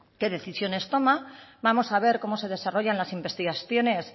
qué decisiones toma vamos a ver cómo se desarrollan las investigaciones